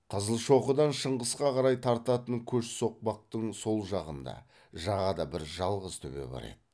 қызылшоқыдан шыңғысқа қарай тартатын көш соқпақтың сол жағында жағада бір жалғыз төбе бар еді